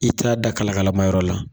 I t'a da kalakala ma yɔrɔ la